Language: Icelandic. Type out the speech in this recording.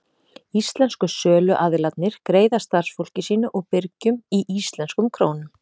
Íslensku söluaðilarnir greiða starfsfólki sínu og birgjum í íslenskum krónum.